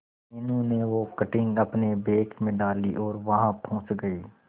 मीनू ने वो कटिंग अपने बैग में डाली और वहां पहुंच गए